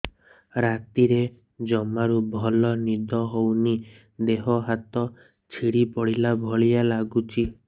ରାତିରେ ଜମାରୁ ଭଲ ନିଦ ହଉନି ଦେହ ହାତ ଛିଡି ପଡିଲା ଭଳିଆ ଲାଗୁଚି